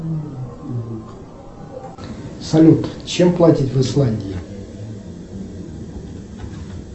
салют чем платят в исландии